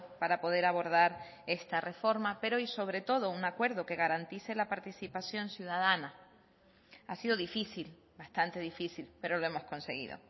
para poder abordar esta reforma pero y sobre todo un acuerdo que garantice la participación ciudadana ha sido difícil bastante difícil pero lo hemos conseguido